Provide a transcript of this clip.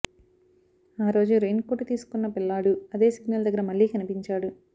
ఆ రోజు రెయిన్కోటు తీసుకున్న పిల్లాడు అదే సిగ్నల్ దగ్గర మళ్లీ కనిపించాడు